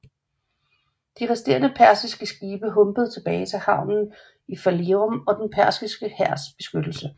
De resterende persiske skibe humpede tilbage til havnen i Phalerum og den persiske hærs beskyttelse